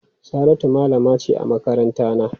Saratu malama ce a makarantana.